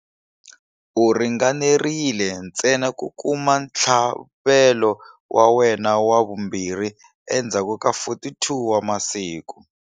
U ringanerile ntsena ku kuma ntlhavelo wa wena wa vumbirhi endzhaku ka 42 wa masiku.